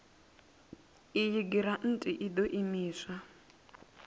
iyi giranthi i ḓo imiswa